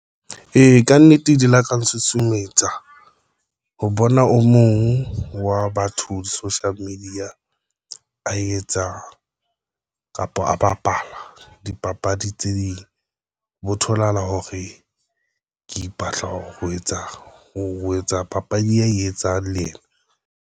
E, kannete di laka ntshusumetsa ho bona o mong wa batho di-social media etsa ka kapa a bapala dipapadi tse ding bo tholahala hore ke ipatla ho etsa ho etsa papadi, ya etsang le ena ng.